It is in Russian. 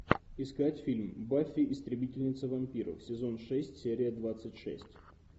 искать фильм баффи истребительница вампиров сезон шесть серия двадцать шесть